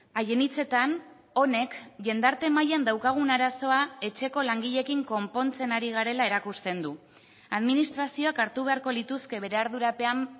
haien hitzetan honek jendarte mailan daukagun arazoa etxeko langileekin konpontzen ari garela erakusten du administrazioak hartu beharko lituzke bere ardurapean